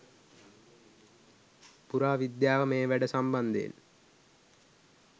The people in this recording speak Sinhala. පුරා විද්‍යාව මේ වැඩ සම්බන්ධයෙන්